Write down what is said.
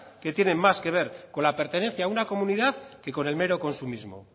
que tienen más que ver con la pertenencia a una comunidad que con el mero consumismo